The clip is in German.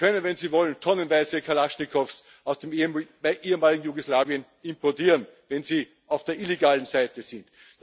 Sie können, wenn Sie wollen, tonnenweise Kalaschnikows aus dem ehemaligen Jugoslawien importieren, wenn Sie auf der illegalen Seite sind.